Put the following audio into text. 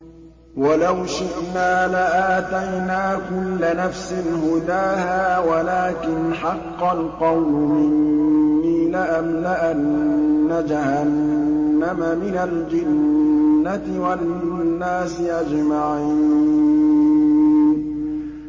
وَلَوْ شِئْنَا لَآتَيْنَا كُلَّ نَفْسٍ هُدَاهَا وَلَٰكِنْ حَقَّ الْقَوْلُ مِنِّي لَأَمْلَأَنَّ جَهَنَّمَ مِنَ الْجِنَّةِ وَالنَّاسِ أَجْمَعِينَ